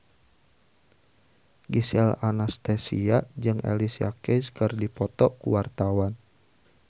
Gisel Anastasia jeung Alicia Keys keur dipoto ku wartawan